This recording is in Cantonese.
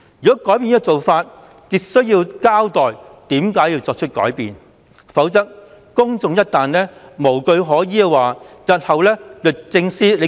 如果改變這做法，便需要交代為何要作出改變，否則公眾一旦無據可依，日後律政司便說了算。